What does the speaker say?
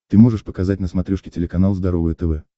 ты можешь показать на смотрешке телеканал здоровое тв